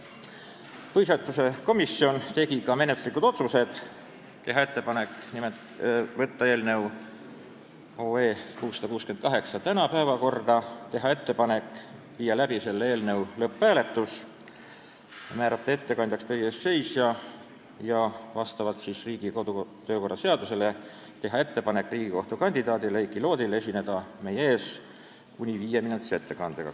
Põhiseaduskomisjon langetas ka menetluslikud otsused: teha ettepanek võtta eelnõu 668 tänase istungi päevakorda, teha ettepanek viia läbi eelnõu lõpphääletus, määrata ettekandjaks teie ees seisja ja vastavalt Riigikogu kodu- ja töökorra seadusele teha ettepanek Riigikohtu liikme kandidaadile Heiki Loodile esineda meie ees kuni viieminutilise ettekandega.